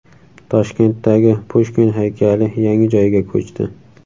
Toshkentdagi Pushkin haykali yangi joyga ko‘chdi.